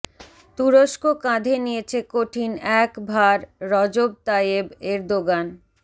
তুরস্ক কাঁধে নিয়েছে কঠিন এক ভার রজব তাইয়েব এরদোগান